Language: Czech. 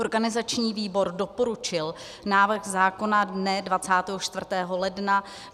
Organizační výbor doporučil návrh zákona dne 24. ledna.